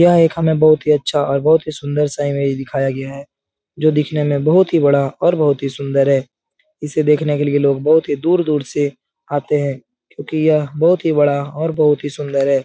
यह एक हमें बहुत ही अच्छा और बहुत ही सुन्दर सा इमेज दिखाया गया है जो दिखने में बहुत ही बड़ा और बहुत ही सुन्दर है। इसे देखने के लिए लोग बहुत ही दूर-दूर से आते हैं क्यूंकि यह बहुत ही बड़ा और बहुत ही सुन्दर है।